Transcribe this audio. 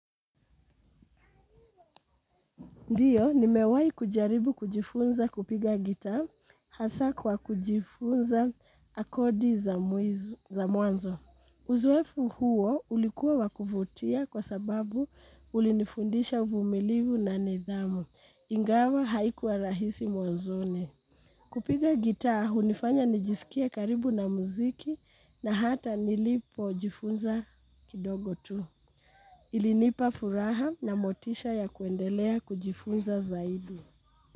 Ndiyo, nimewahi kujaribu kujifunza kupiga guitar hasa kwa kujifunza kodi za mwanzo. Uzoefu huo ulikuwa wa kuvutia kwa sababu ulinifundisha uvumilivu na nidhamu. Ingawa haikuwa rahisi mwanzoni. Kupiga guitar, hunifanya nijisikie karibu na muziki na hata nilipojifunza kidogo tu. Ilinipa furaha na motisha ya kuendelea kujifunza zaidi.